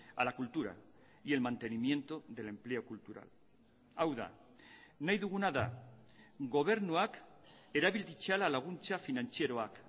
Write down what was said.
a la cultura y el mantenimiento del empleo cultural hau da nahi duguna da gobernuak erabil ditzala laguntza finantzieroak